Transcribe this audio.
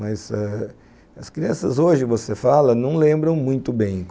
Mas eh as crianças hoje, você fala, não lembram muito bem.